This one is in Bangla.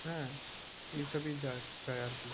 হ্যাঁ এইসবই চায় চায় আর কি।